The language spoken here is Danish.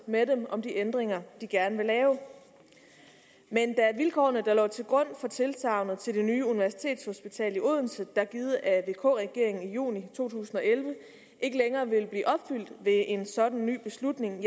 med dem om de ændringer de gerne lave men da vilkårene der lå til grund for tilsagnet til det nye universitetshospital i odense der blev givet af vk regeringen i juni to tusind og elleve ikke længere vil blive opfyldt ved en sådan ny beslutning